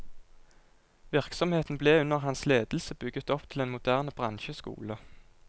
Virksomheten ble under hans ledelse bygget opp til en moderne bransjeskole.